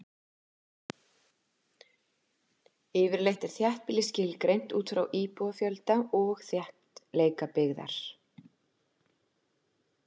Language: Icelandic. Yfirleitt er þéttbýli skilgreint út frá íbúafjölda og þéttleika byggðarinnar.